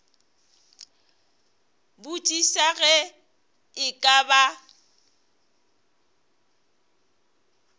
botšiša ge e ka ba